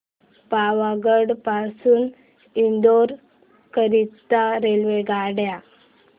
पावागढ पासून इंदोर करीता रेल्वेगाड्या